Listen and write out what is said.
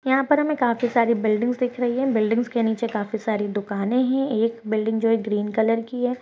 यहाँ पर हमें काफी सारी बिल्डिंग्स दिख रही है बिल्डिंग्स के नीचे काफी सारी दुकाने है एक बिल्डिंग जो है ग्रीन कलर की हैं।